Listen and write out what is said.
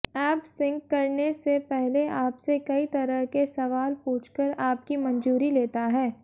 app sync करने से पहले आपसे कई तरह के सवाल पूछकर आपकी मंजूरी लेता है